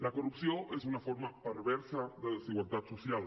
la corrupció és una forma perversa de desigualtat social